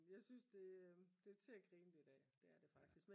jeg synes det er til at grine lidt af det er det faktisk